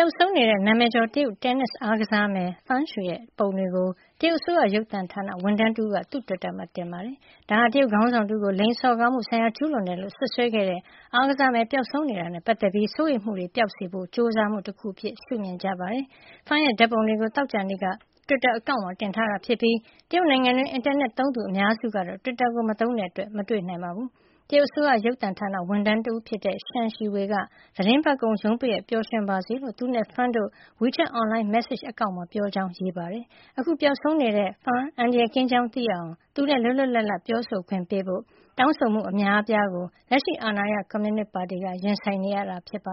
ောက်ဆုံးနေတဲ့ နာမည်ကျော် တရုတ်တင်းနစ်အားကစားမယ် Peng Shuai ရဲ့ ပုံတွေကို တရုတ်အစိုးရ ရုပ်သံဌာန ဝန်ထမ်းတဦးက တွစ်တာမှာ တင်ခဲ့ပါတယ်။ ဒါဟာ တရုတ်ခေါင်းဆောင်တဦးကို လိင်စော်ကားမှုဆိုင်ရာ ကျူးလွန်တယ်လို့ စွပ်စွဲခဲ့တဲ့ အားကစားမယ် ပျောက်ဆုံးနေတာနဲ့ ပတ်သက်ပြီး စိုးရိမ်မှုတွေ ပပျောက်စေဖို့ ကြိုးစားမှု တခုအဖြစ် ရှုမြင်ကြပါတယ်။ Peng ရဲ့ ဓာတ်ပုံတွေကို သောကြာနေ့က တွစ်တာအကောင့်မှာ တင်ထားတာဖြစ်ပြီး တရုတ်နိုင်ငံတွင်း အင်တာနက်သုံးသူ အများစုကတော့ တွစ်တာကို မသုံးတဲ့အတွက် မတွေ့နိုင်ပါဘူး။ အစိုးရရုပ်သံဌာန ဝန်ထမ်းတဦးဖြစ်တဲ့ Shen Shiwei က သီတင်းပတ်ကုန် ရုံးပိတ်ရက်မှာ ပျော်ရွှင်ပါစေလို့ သူနဲ့ Peng တို့ဟာ WeChat အွန်လိုင်းမက်ဆေ့ချ် အကောင့်မှာ ပြောဆိုကြောင်း ရေးသားခဲ့တာပါ။ အခု ပျောက်ဆုံးနေတဲ့ တင်းနစ်ချန်ပီယံ Peng အန္တရာယ်ကင်းကြောင်း သိရအောင် သူနဲ့ လွတ်လွတ်လပ်လပ် ပြောဆိုခွင့်ပေးဖို့၊ အားကစားအဖွဲ့တွေ လာရောက်ခွင့်ပြုဖို့ တောင်းဆိုမှု အများအပြားကို လက်ရှိအာဏာရ တရုတ်ကွန်မြူနစ်ပါတီဟာ ရင်ဆိုင်နေရတာဖြစ်ပ